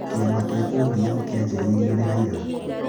Kĩama kĩa ODM kĩanjĩrĩirio nĩ Raila.